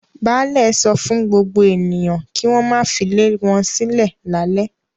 Baálẹ̀ sọ fún gbogbo ènìyàn kí wọ́n má filé wọn sílẹ̀ lálẹ́.